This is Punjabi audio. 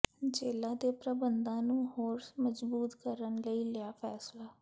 ਜੇਲ੍ਹਾਂ ਦੇ ਪ੍ਰਬੰਧਾਂ ਨੂੰ ਹੋਰ ਮਜ਼ਬੂਤ ਕਰਨ ਲਈ ਲਿਆ ਫੈਸਲਾ